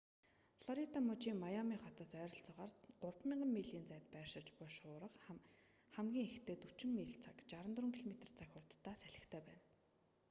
флорида мужийн миами хотоос ойролцоогоор 3,000 милийн зайд байршиж буй шуурга хамгийн ихдээ 40 миль/цаг 64 км/цаг хурдтай салхитай байна